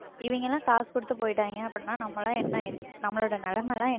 இவங்க எல்லாம் காசு கொடுத்து போயிட்டாங்க அப்படின்னா நாமெல்லாம் என்ன நம்மளோட நிலைமை எல்லாம்